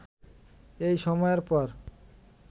এই সময়ের পর